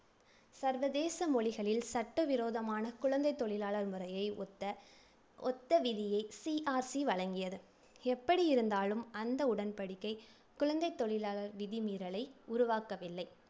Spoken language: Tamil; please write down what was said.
சர்வதேச மொழிகளில் சட்ட விரோதமான குழந்தைத் தொழிலாளர் முறையை ஒத்த ஒத்த விதியை CRC வழங்கியது. எப்படி இருந்தாலும் அந்த உடன்படிக்கை குழந்தைத் தொழிலாளர் விதி மீறலை உருவாக்கவில்லை